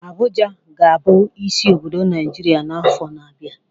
Abuja ka ga-abụ isi obodo Naijiria n'afọ na-abịa.